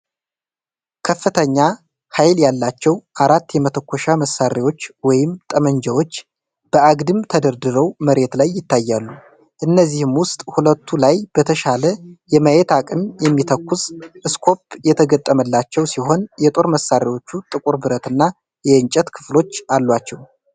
ከፍተኛ ኃይል ያላቸው አራት የመተኮሻ መሳሪያዎች (ጠመንጃዎች) በአግድም ተደርድረው መሬት ላይ ይታያሉ። ከእነዚህም ውስጥ ሁለቱ ላይ በተሻለ የማየት አቅም የሚተኩስ ስኮፕ የተገጠመላቸው ሲሆን፣ የጦር መሳሪያዎቹ ጥቁር ብረት እና የእንጨት ክፍሎች አሏቸው።